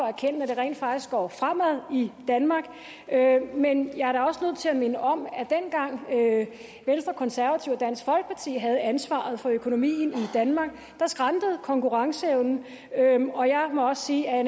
erkende at det rent faktisk går fremad i danmark men jeg er da også nødt til at minde om at dengang venstre konservative og dansk folkeparti havde ansvaret for økonomien i danmark skrantede konkurrenceevnen og jeg må også sige at